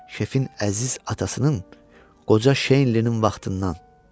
Şefin əziz atasının qoca Şeylinin vaxtından.